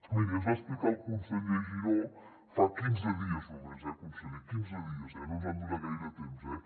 miri ens va explicar el conseller giró fa quinze dies només eh conseller quinze dies no ens han donat gaire temps eh